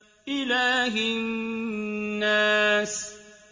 إِلَٰهِ النَّاسِ